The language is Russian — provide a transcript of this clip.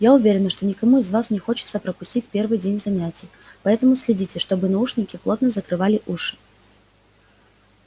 я уверена что никому из вас не хочется пропустить первый день занятий поэтому следите чтобы наушники плотно закрывали уши